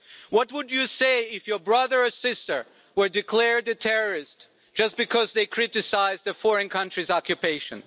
What would you say if your brother or sister were declared a terrorist, just because they criticised a foreign country's occupation?